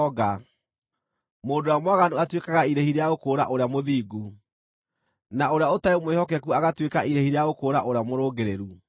Mũndũ ũrĩa mwaganu atuĩkaga irĩhi rĩa gũkũũra ũrĩa mũthingu, na ũrĩa ũtarĩ mwĩhokeku agatuĩka irĩhi rĩa gũkũũra ũrĩa mũrũngĩrĩru.